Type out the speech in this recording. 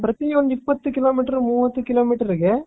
ಪ್ರತಿಯೆಂದು ಇಪ್ಪತ್ತು ಕಿಲೋಮೀಟರ್ ಮೂವತ್ತು ಕಿಲೋಮೀಟರ್ ಗೆ.